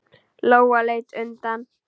Lóa leit undan.